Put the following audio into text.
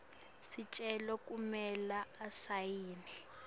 sicelo kumele asayine